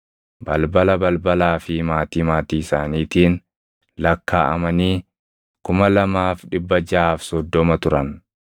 balbala balbalaa fi maatii maatii isaaniitiin lakkaaʼamanii 2,630 turan.